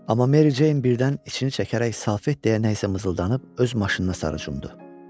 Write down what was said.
Amma Meri Ceyn birdən için çəkərək Salfet deyə nə isə mızıldanıb öz maşınına sarı cumdu.